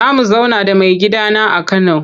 Za mu zauna da maigidana a Kano.